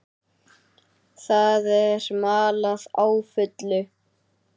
Það er malað á fullu.